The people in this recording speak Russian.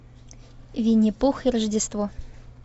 винни пух и рождество